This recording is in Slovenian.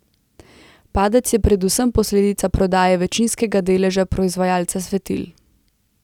Padec je predvsem posledica prodaje večinskega deleža proizvajalca svetil.